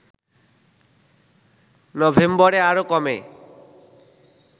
নভেম্বরে আরো কমে